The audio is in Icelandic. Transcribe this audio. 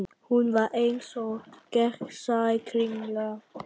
Hún var eins og gegnsæ kringla.